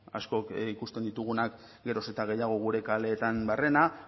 askok ikusten ditugunak geroz eta gehiago gure kaleetan barrena